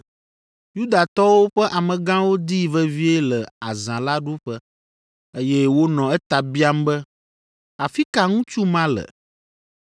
Yudatɔwo ƒe amegãwo dii vevie le azã la ɖuƒe, eye wonɔ eta biam be, “Afi ka ŋutsu ma le?”